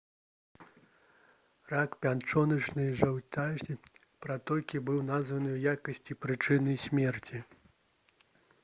рак пячоначнай жоўцевай пратокі быў названы ў якасці прычыны смерці